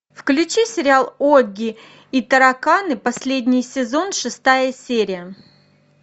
включи сериал огги и тараканы последний сезон шестая серия